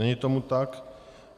Není tomu tak.